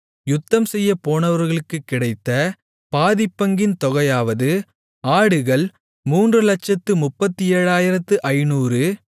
யுத்தம்செய்யப் போனவர்களுக்குக் கிடைத்த பாதிப்பங்கின் தொகையாவது ஆடுகள் 337500